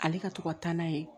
Ale ka to ka taa n'a ye